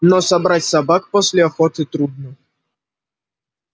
но собрать собак после охоты трудно